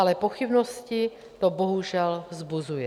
Ale pochybnosti to bohužel vzbuzuje.